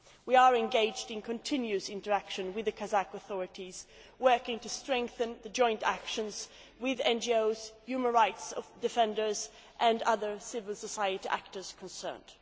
We are engaged in continuous interaction with the Kazakh authorities, working to strengthen the joint actions with NGOs, human rights defenders and other civil society actors concerned.